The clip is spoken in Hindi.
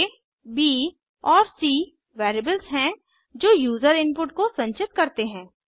a b और c वेरिएबल्स हैं जो यूजर इनपुट को संचित करते हैं